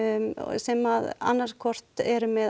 sem annað hvort eru með